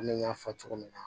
Komi n y'a fɔ cogo min na